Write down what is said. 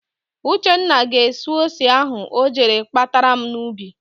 Uchenna ga-esu ose ahụ o jere kpatara m n'ubi.